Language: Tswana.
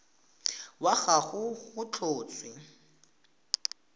wa ga gagwe go tlhotswe